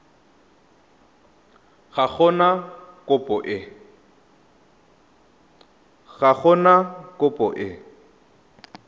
ga go na kopo e